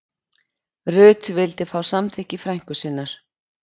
Rut vildi fá samþykki frænku sinnar